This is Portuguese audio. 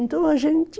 Então a gente...